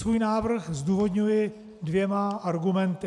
Svůj návrh zdůvodňuji dvěma argumenty.